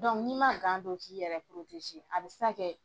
n'i ma gan don k'i yɛrɛ a bɛ se ka kɛ